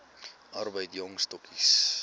arbeid jong stokkies